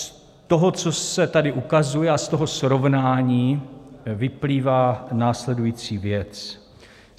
Z toho, co se tady ukazuje, a z toho srovnání vyplývá následující věc.